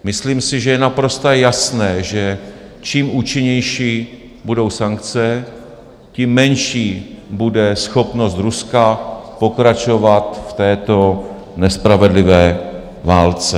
Myslím si, že je naprosto jasné, že čím účinnější budou sankce, tím menší bude schopnost Ruska pokračovat v této nespravedlivé válce.